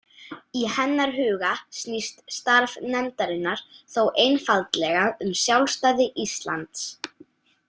Í hennar huga snýst starf nefndarinnar þó einfaldlega um sjálfstæði Íslands.